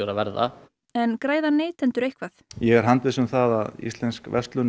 verða en græða neytendur eitthvað ég er handviss um það að íslensk verslun